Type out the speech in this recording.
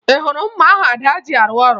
Ị hụrụ mma ahụ Ada ji arụ ọrụ?